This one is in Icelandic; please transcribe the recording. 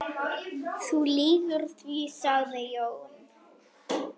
Þú lýgur því, sagði Jón.